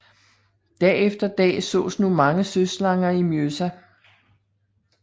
Dag efter dag sås nu mange søslanger i Mjøsa